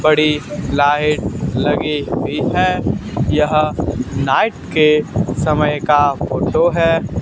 बड़ी लाइट लगी हुई है यह नाइट के समय का फोटो है।